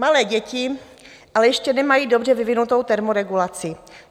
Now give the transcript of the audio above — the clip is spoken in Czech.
Malé děti ale ještě nemají dobře vyvinutou termoregulaci.